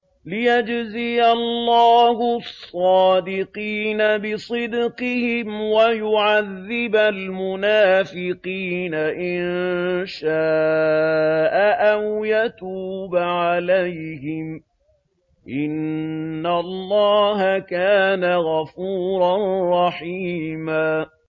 لِّيَجْزِيَ اللَّهُ الصَّادِقِينَ بِصِدْقِهِمْ وَيُعَذِّبَ الْمُنَافِقِينَ إِن شَاءَ أَوْ يَتُوبَ عَلَيْهِمْ ۚ إِنَّ اللَّهَ كَانَ غَفُورًا رَّحِيمًا